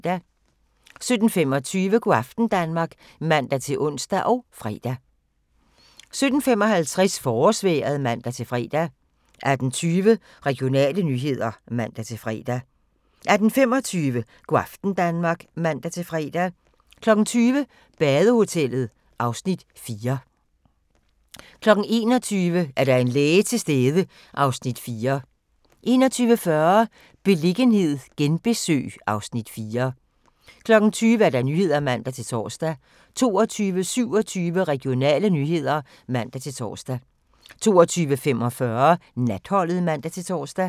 17:25: Go' aften Danmark (man-ons og fre) 17:55: Forårsvejret (man-fre) 18:20: Regionale nyheder (man-fre) 18:25: Go' aften Danmark (man-fre) 20:00: Badehotellet (Afs. 4) 21:00: Er der en læge til stede? (Afs. 4) 21:40: Beliggenhed genbesøg (Afs. 4) 22:00: Nyhederne (man-tor) 22:27: Regionale nyheder (man-tor) 22:45: Natholdet (man-tor)